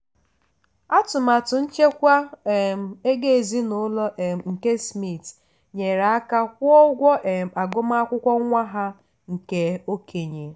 atụmatụ nchekwa um ego ezinụlọ um nke smith nyere aka kwụọ ụgwọ um agụmakwụkwọ nwa ha nke okenye.